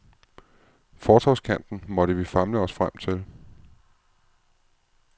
Fortovskanten måtte vi famle os frem til.